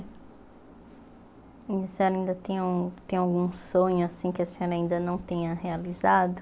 E a senhora ainda tem um tem algum sonho assim que a senhora ainda não tenha realizado?